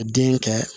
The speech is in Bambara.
Den kɛ